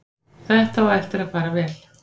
Þetta á eftir að fara vel.